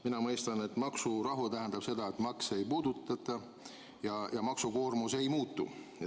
Mina mõistan, et maksurahu tähendab seda, et makse ei puudutata ja maksukoormus ei muutu.